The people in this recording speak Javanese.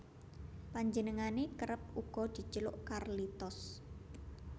Panjenengane kerep uga dijeluk Carlitos